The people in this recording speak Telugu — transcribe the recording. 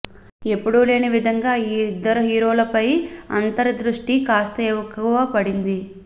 ఎప్పుడు లేని విధంగా ఈ ఇద్దరి హీరోలపై అంతరి ద్రుష్టి కాస్త ఎక్కువగా పడింది